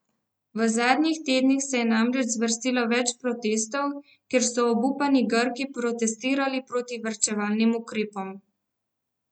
V zadnjih tednih se je namreč zvrstilo več protestov, kjer so obupani Grki protestirali proti varčevalnim ukrepom.